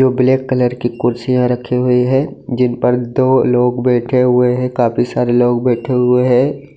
जो black colour की कुर्सियां रखी हुई है जिन पर दो लोग बैठे हुए है काफी सारे लोग बैठे हुए है।